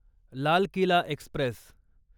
Lal Qila Express